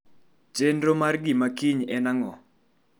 Chenro mar mar gima kiny en ang'o?